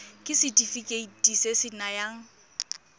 ke setefikeiti se se nayang